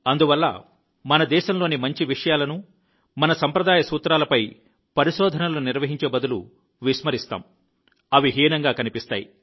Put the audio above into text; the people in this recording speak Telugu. అందువల్ల మన దేశంలోని మంచి విషయాలను మన సాంప్రదాయ సూత్రాలను పరిశోధనలు నిర్వహించే బదులు విస్మరిస్తాము అవి హీనంగా కనిపిస్తాయి